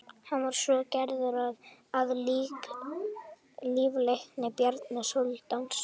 hann var svo gerður að líflækni bjarna sóldáns